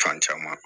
Fan caman